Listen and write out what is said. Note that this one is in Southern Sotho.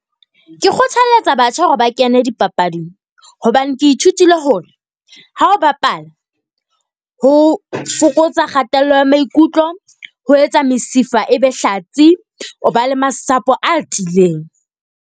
Ke kgothaletsa batjha hore ba kene dipapading hobane ke ithutile hore ha o bapala. Ho fokotsa kgatello ya maikutlo. Ho etsa mesifa e be hlatsi, o ba le masapo a tiileng.